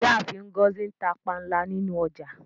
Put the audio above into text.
Ìyáàfin Ngozi n tà pànla nínu ọjà.